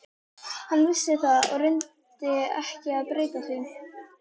Hann vissi það og reyndi ekki að breyta því.